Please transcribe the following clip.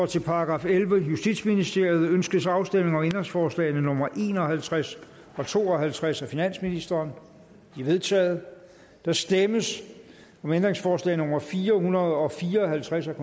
til § ellevte justitsministeriet ønskes afstemning om ændringsforslag nummer en og halvtreds og to og halvtreds af finansministeren de er vedtaget der stemmes om ændringsforslag nummer fire hundrede og fire og halvtreds af